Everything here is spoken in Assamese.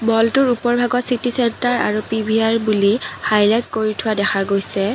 ম'লটোৰ ওপৰৰ ভাগত চিটি চেন্টাৰ আৰু পি_ভি_আৰ বুলি হাইলাইট কৰি থোৱা দেখা গৈছে।